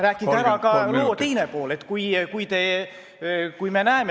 Rääkige ära ka loo teine pool!